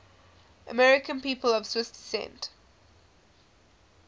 american people of swiss descent